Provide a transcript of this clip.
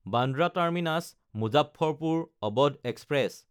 Bandra টাৰ্মিনাছ–মুজাফ্ফৰপুৰ Awadh express